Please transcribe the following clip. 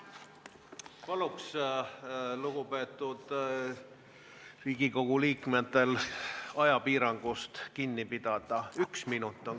Palun lugupeetud Riigikogu liikmetel ajapiirangust kinni pidada!